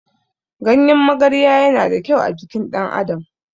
Ganyen magarya yana da ƙyau a jikin ɗan adam